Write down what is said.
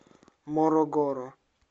морогоро